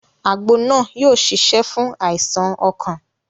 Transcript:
Àgbo náà yóò ṣiṣẹ́ fún àìsàn ọkàn